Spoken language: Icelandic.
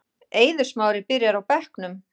Eiður Smári byrjar á bekknum